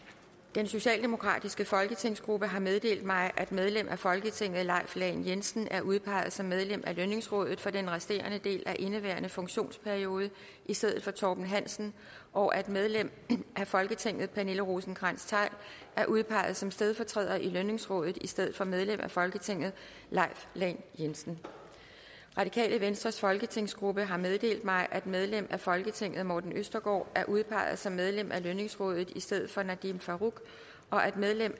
den socialdemokratiske folketingsgruppe har meddelt mig at medlem af folketinget leif lahn jensen er udpeget som medlem af lønningsrådet for den resterende del af indeværende funktionsperiode i stedet for torben hansen og at medlem af folketinget pernille rosenkrantz theil er udpeget som stedfortræder i lønningsrådet i stedet for medlem af folketinget leif lahn jensen radikale venstres folketingsgruppe har meddelt mig at medlem af folketinget morten østergaard er udpeget som medlem af lønningsrådet i stedet for nadeem farooq og at medlem